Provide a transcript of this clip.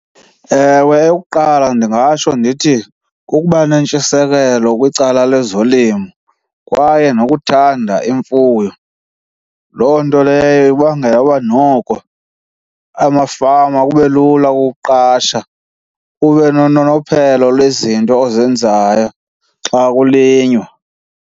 Ewe, eyokuqala ndingatsho ndithi kukuba nentshisekelo kwicala lezolimo kwaye nokuthanda imfuyo. Loo nto leyo ibangela uba noko amafama kube lula ukuqasha, ube nononophelo lwezinto ozenzayo xa kulinywa.